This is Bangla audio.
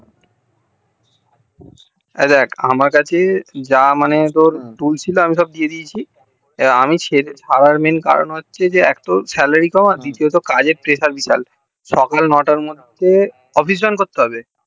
এই দেখ আমার কাছে যা মানে তোর দুই ছিল আমি সব দিয়ে দিয়েছি আমি ছাড়ার main কারণ হচ্ছে এক তো salary কম আর দ্বিতীয়ত কাজ এর pressure বিশাল সকাল নয়টার মধ্যে office join করতে হবে